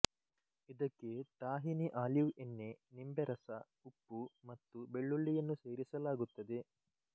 ಇದಕ್ಕೆ tahini olive ಎಣ್ಣೆ ನಿಂಬೆರಸ ಉಪ್ಪು ಮತ್ತು ಬೆಳ್ಳುಳ್ಳಿಯನ್ನು ಸೇರಿಸಲಾಗುತ್ತದೆ